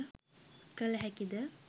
කළ හැකි ද?